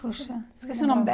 Puxa, esqueci o nome dela.